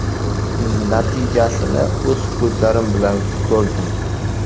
Natijasini o‘z ko‘zlarim bilan ko‘rdim.